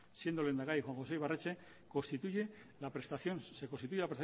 siendo lehendakari juan josé ibarretxe constituye la prestación